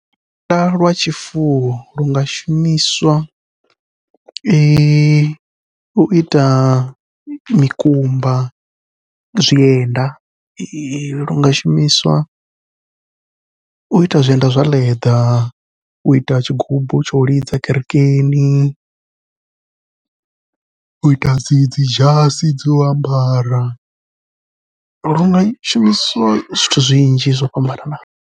Lukanda lwa tshifuwo lunga shumiswa uita mikumba, zwienda lunga shumiswa u ita zwienda zwa leḓa, uita tshigubu tshau lidza kerekeni uita dzi dzi dzhasi dzo u ambara lunga shumiswa zwithu zwinzhi zwo fhambananaho.